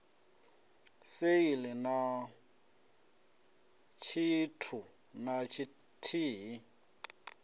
sale na tshithu na tshithihi